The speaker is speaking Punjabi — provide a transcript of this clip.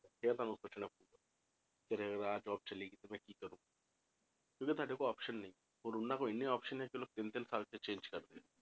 ਇਹ ਸਾਨੂੰ ਸੋਚਣਾ ਪਊਗਾ ਕਿ ਅਗਰ ਆਹ job ਚਲੀ ਗਈ ਤੇ ਮੈਂ ਕੀ ਕਰੂੰ ਕਿਉਂਕਿ ਤੁਹਾਡੇ ਕੋਲ option ਨਹੀਂ ਹੋਰ ਉਹਨਾਂ ਕੋਲ ਇੰਨੇ option ਨੇ ਕਿ ਲੋਕ ਤਿੰਨ ਤਿੰਨ ਥਾਵਾਂ ਤੇ change ਕਰਦੇ ਆ,